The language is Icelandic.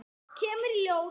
Kemur í ljós!